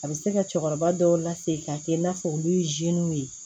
A bɛ se ka cɛkɔrɔba dɔw lase ka kɛ i n'a fɔ olu ye ye